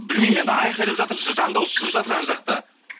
білмеймін енді айқайлап жатыр жан дауысы шығып жатыр ана жақта